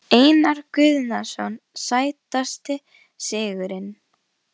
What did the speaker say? Einar Guðnason Sætasti sigurinn?